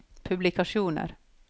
publikasjoner